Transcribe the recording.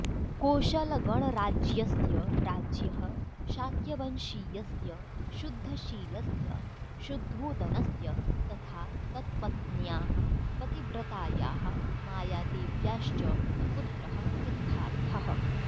कोशलगणराज्यस्य राज्ञः शाक्यवंशीयस्य शुद्धशीलस्य शुद्धोदनस्य तथा तत्पत्न्याः पतिव्रतायाः मायादेव्याश्च पुत्रः सिद्धार्थः